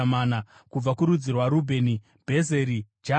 kubva kurudzi rwaRubheni, Bhezeri, Jahazi,